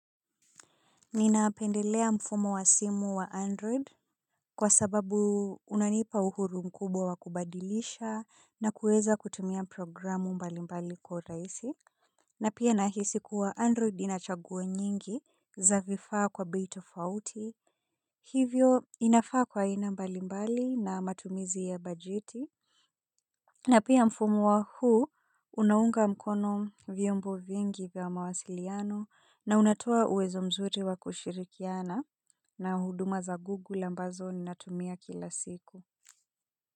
Ninapendelea mfumo wa simu wa android kwa sababu unanipa uhuru mkubwa wa kubadilisha na kuweza kutumia programu mbalimbali kwa urahisi. Na pia nahisi kuwa android ina chaguo nyingi za vifaa kwa bei tofauti hivyo inafaa kwa aina mbalimbali na matumizi ya bajeti na pia mfumo huu unaunga mkono vyombo vingi vya mawasiliano na unatoa uwezo mzuri wa kushirikiana na huduma za Google ambazo ninatumia kila siku.